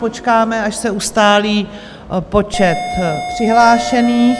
Počkáme, až se ustálí počet přihlášených.